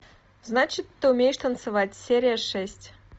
значит ты умеешь танцевать серия шесть